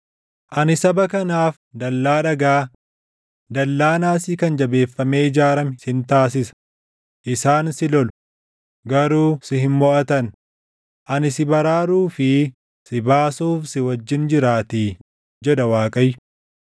Ani saba kanaaf dallaa dhagaa, dallaa naasii kan jabeeffamee ijaarame sin taasisa; isaan si lolu; garuu si hin moʼatan; ani si baraaruu fi si baasuuf si wajjin jiraatii” jedha Waaqayyo.